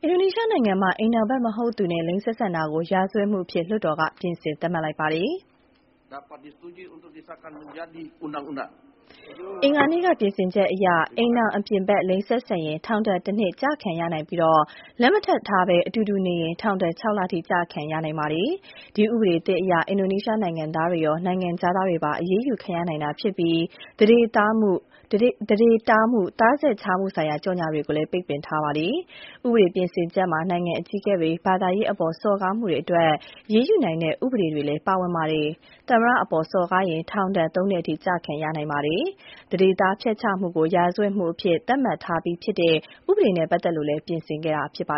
ဒိုနီးရှားနိုင်ငံမှာ အိမ်ထောင်ဖက်မဟုတ်သူနဲ့ လိင်ဆက်ဆံတာကို ရာဇဝတ်မှုအဖြစ် လွှတ်တော်က ပြင်ဆင်သတ်မှတ်လိုက်ပါတယ်။ အင်္ဂါနေ့က ပြင်ဆင်ချက်အရ၊ အိမ်ထောင်အပြင်ဖက် လိင်ဆက်ဆံရင် ထောင်ဒဏ်တနှစ် ကျခံရနိုင်ပြီး လက်မထပ်ထားဘဲ အတူတူနေရင် ထောင်ဒဏ် ၆ လထိ ကျခံရနိုင်ပါတယ်။ ဒီဥပဒေသစ်အရ အင်ဒိုနီးရှားနိုင်ငံသားတွေရော နိုင်ငံခြားသားတွေပါ အရေးယူခံရနိုင်တာ ဖြစ်ပြီး သန္ဓေတားမှု၊ သားဆက်ခြားမှုဆိုင်ရာ ကြော်ငြာတွေကိုလည်း ပိတ်ပင်ထားပါတယ်။ ဥပဒေပြင်ဆင်ချက်မှာ နိုင်ငံအကြီးအကဲတွေ၊ ဘာသာရေးအပေါ် စော်ကားမှုတွေအတွက် အရေးယူနိုင်တဲ့ ဥပဒေတွေလည်း ပါဝင်ပါတယ်။ သမ္မတအပေါ် စော်ကားရင် ထောင်ဒဏ် ၃ နှစ်အထိ ကျခံရနိုင်ပါတယ်။ သန္ဓေသားဖျက်ချမှုကို ရာဇဝတ်မှုအဖြစ် သတ်မှတ်ထားပြီးဖြစ်တဲ့ ဥပဒေနေဲ့ ပတ်သက်လို့လည်း ပြင်ဆင်ခဲ့တာပါ